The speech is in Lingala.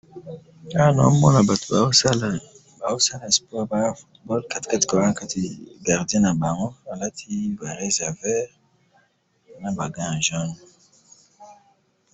awa nazo mona batu bazo sala sport katikati nazo mona gardien nabango alati varese ya vert naba gan ya jaune